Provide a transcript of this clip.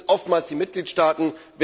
Es sind oftmals die Mitgliedstaaten.